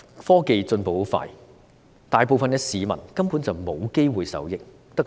科技進步得很快，大部分市民根本無機會受益，只能盼望。